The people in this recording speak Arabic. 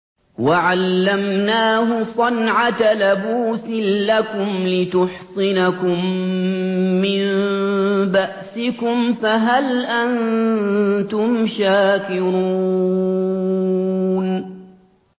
وَعَلَّمْنَاهُ صَنْعَةَ لَبُوسٍ لَّكُمْ لِتُحْصِنَكُم مِّن بَأْسِكُمْ ۖ فَهَلْ أَنتُمْ شَاكِرُونَ